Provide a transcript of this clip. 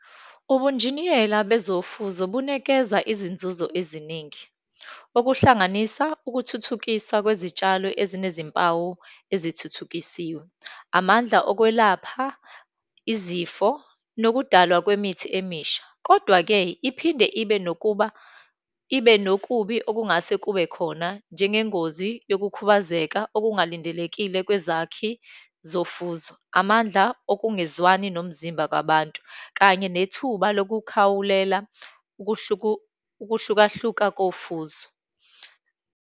Ubunjiniyela bezofuzo bunikeza izinzuzo eziningi, okuhlanganisa ukuthuthukisa kwezitshalo ezinezimpawu ezithuthukisiwe, amandla okwelapha izifo, nokudalwa kwemithi emisha. Kodwa-ke iphinde ibe nokuba ibe nokubi okungase kube khona, njengengozi yokukhubazeka okungalindelekile kwezakhi zofuzo, amandla okungezwani nomzimba kwabantu, kanye nethuba lokukhawulela ukuhlukahluka kofuzo.